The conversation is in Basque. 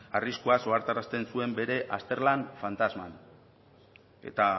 arriskuaz ohartarazten zuen bere azterlan fantasman eta